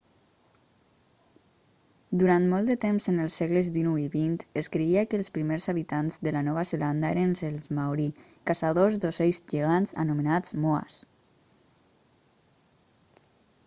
durant molt de temps en els segles dinou i vint es creia que els primers habitants de la nova zelanda eren els maori caçadors d'ocells gegants anomenats moas